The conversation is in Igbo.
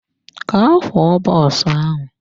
Gaa kwoo bọs ahụ!